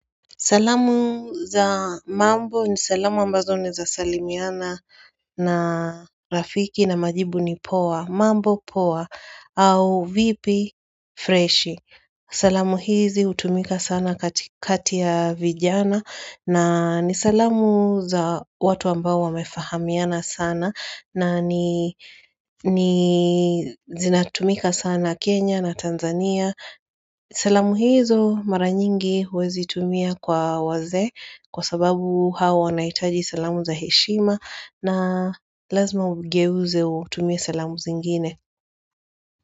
Salamu za mambo ni salamu ambazo naweza salimiana na rafiki na majibu ni poa. Mambo poa au vipi freshi. Salamu hizi hutumika sana kati ya vijana nani salamu za watu ambao wamefahamiana sana na ni zinatumika sana Kenya na Tanzania. Salamu hizo mara nyingi huwezi tumia kwa wazee kwa sababu hawa wanaitaji salamu za heshima na lazima ugeuze utumie salamu zingine.